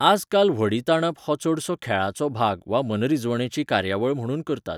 आजकाल व्हडीं ताणप हो चडसो खेळाचो भाग वा मनरिजवणेची कार्यावळ म्हुणून करतात.